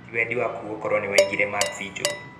Tĩ wendi wakũ gukorwo niwaigire maksi njuru.